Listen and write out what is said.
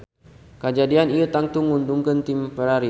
Kajadian ieu tangtu nguntungkeun tim Ferrari